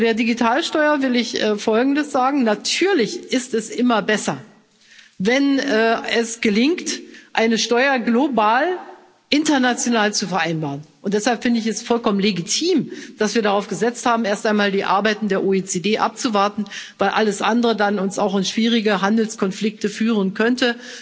Zu der Digitalsteuer will ich Folgendes sagen Natürlich ist es immer besser, wenn es gelingt, eine Steuer global international zu vereinbaren, und deshalb finde ich es vollkommen legitim, dass wir darauf gesetzt haben, erst einmal die Arbeiten der OECD abzuwarten, weil alles andere uns dann auch in schwierige Handelskonflikte führen könnte.